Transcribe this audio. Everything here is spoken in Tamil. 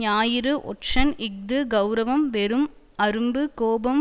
ஞாயிறு ஒற்றன் இஃது கெளரவம் வெறும் அரும்பு கோபம்